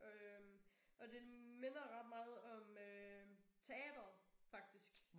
Øh og den minder ret meget om øh teatret faktisk